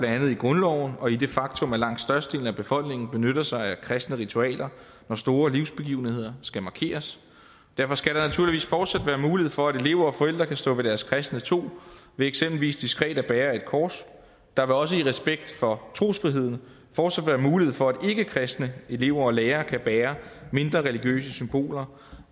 i grundloven og i det faktum at langt størstedelen af befolkningen benytter sig af kristne ritualer når store livsbegivenheder skal markeres derfor skal der naturligvis fortsat være mulighed for at elever og forældre kan stå ved deres kristne tro ved eksempelvis diskret at bære et kors der vil også i respekt for trosfriheden fortsat være mulighed for at ikkekristne elever og lærere kan bære mindre religiøse symboler